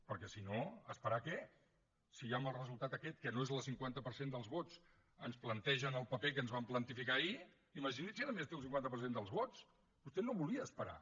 perquè si no esperar què si ja amb el resultat aquest que no és el cinquanta per cent dels vots ens plantegen el paper que ens van plantificar ahir imagini’s si a més té el cinquanta per cent dels vots vostè no volia esperar